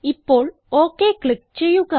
ഇപ്പോൾ okay click ചെയ്യുക